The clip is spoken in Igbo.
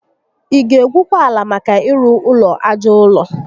Ị ga egwukwa ala maka ịrụ ụlọ aja ụrọ?